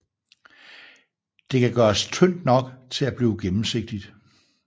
Det kan gøres tyndt nok til at blive gennemsigtigt